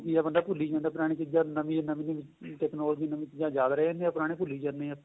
ਕੀ ਏ ਬੰਦਾ ਭੂਲੀ ਜਾਂਦਾ ਪੁਰਾਣੀਆਂ ਚੀਜਾਂ ਨਵੀਂ ਨਵੀਆਂ ਨਵੀਆਂ technology ਨਵੀਂ ਚੀਜਾਂ ਜਾਗ ਰਹੇਨੇ ਪੁਰਾਣੀਆਂ ਭੁੱਲੀ ਜਾਂਣੇ ਹਾਂ ਆਪਾਂ